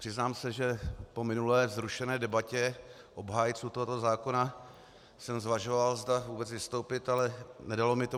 Přiznám se, že po minulé vzrušené debatě obhájců tohoto zákona jsem zvažoval, zda vůbec vystoupit, ale nedalo mi to.